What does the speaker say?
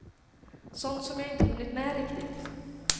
Sånt som jag inte hunnit med riktigt.